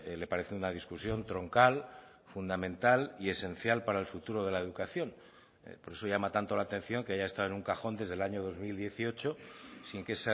le parece una discusión troncal fundamental y esencial para el futuro de la educación por eso llama tanto la atención que haya estado en un cajón desde el año dos mil dieciocho sin que